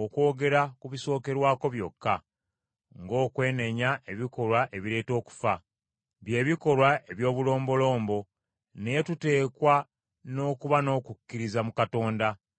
okwogera ku bisookerwako byokka, ng’okwenenya ebikolwa ebireeta okufa, by’ebikolwa eby’obulombolombo, naye tuteekwa n’okuba n’okukkiriza mu Katonda.